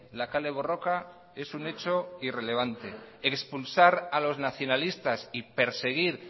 la kale borroka es un hecho irrelevante expulsar a los nacionalistas y perseguir